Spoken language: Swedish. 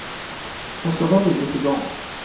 Och så var bygget i gång.